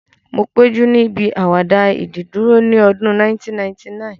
Mo péjú níbi àwàdà ìdìdúró ní ọdún 1999